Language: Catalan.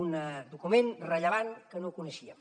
un document rellevant que no coneixíem